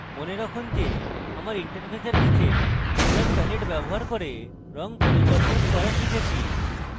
মনে রাখুন যে আমরা interface নীচে color palette ব্যবহার করে রং পরিবর্তন করা শিখেছি